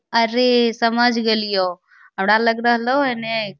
अरे समझ गेलियो हमरा लग रहलो हे ने --